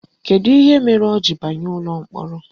Kedu ihe mere o ji banye ụlọ mkpọrọ?